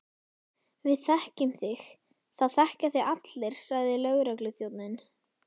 Við þekkjum þig, það þekkja þig allir sagði lögregluþjónninn.